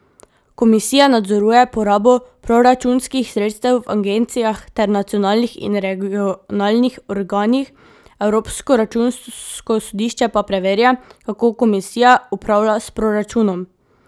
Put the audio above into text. Komisija nadzoruje porabo proračunskih sredstev v agencijah ter nacionalnih in regionalnih organih, Evropsko računsko sodišče pa preverja, kako komisija upravlja s proračunom.